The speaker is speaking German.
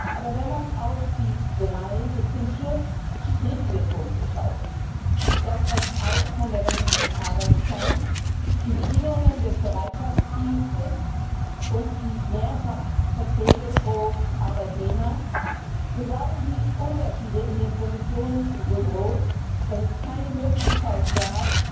Aber wenn man auf die drei bis zum Schluss strittigen Punkte schaut das Opt out von der wöchentlichen Arbeitszeit, die Bedingungen des Bereitschaftsdienstes und die Mehrfachverträge pro Arbeitnehmer so waren die Unterschiede in den Positionen so groß, dass es keine Möglichkeit gab,